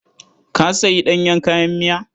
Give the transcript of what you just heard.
Ka sayi ɗanyen kayan miya?